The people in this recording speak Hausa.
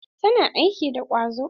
Tana aiki da ƙwazo.